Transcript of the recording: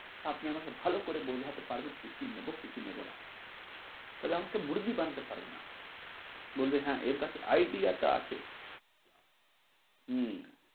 আপনি আমাকে ভালো করে বোঝাতে পারবেন কি কি নেব, কি কি নেব না তাহলে আমাকে মুরগি বানাতে পারবে না বলবে হ্যাঁ এর কাছে idea টা আছে হম